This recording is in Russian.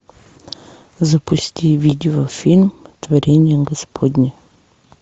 запусти видео фильм творение господне